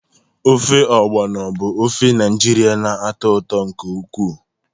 Ofe Ogbono bụ ofe Naijiria na-atọ ụtọ nke ukwuu.